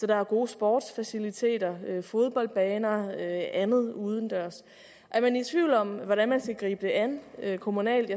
der er gode sportsfaciliteter fodboldbaner og andet udendørs er man i tvivl om hvordan man skal gribe det an kommunalt